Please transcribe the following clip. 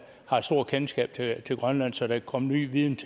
har stort kendskab til til grønland så der kan komme ny viden